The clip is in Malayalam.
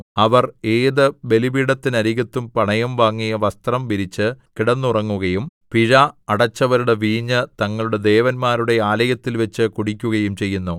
അവർ ഏത് ബലിപീഠത്തിനരികത്തും പണയം വാങ്ങിയ വസ്ത്രം വിരിച്ച് കിടന്നുറങ്ങുകയും പിഴ അടച്ചവരുടെ വീഞ്ഞ് തങ്ങളുടെ ദേവന്മാരുടെ ആലയത്തിൽവച്ച് കുടിക്കുകയും ചെയ്യുന്നു